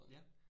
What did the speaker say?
Ja